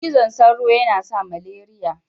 Cizan sauro yana sa maleriya.